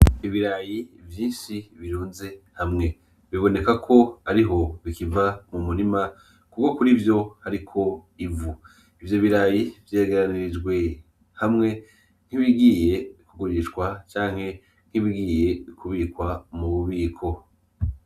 Ibirayi vyinshi birunze hamwe. Biboneka ko ariho bikiva mu murima kuko kuri vyo hariko ivu. Ivyo birayi vyegeranirijwe hamwe nk' ibigiye kugurishwa canke nk'ibigiye kubikwa mu mubiko